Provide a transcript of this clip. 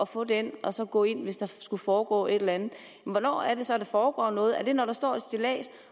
få den og så gå ind hvis der skulle foregå et eller andet hvornår er det så at der foregår noget er det når der står et stillads